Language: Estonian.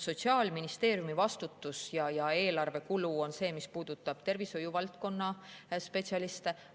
Sotsiaalministeeriumi vastutus ja eelarvekulu puudutab tervishoiuvaldkonna spetsialiste.